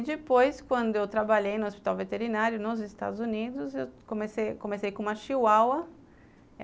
E depois, quando eu trabalhei no hospital veterinário, nos Estados Unidos, eu comecei com uma chihuahua.